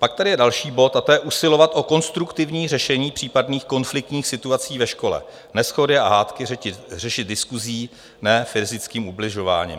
Pak tady je další bod a to je "usilovat o konstruktivní řešení případných konfliktních situací ve škole, neshody a hádky řešit diskusí, ne fyzickým ubližováním".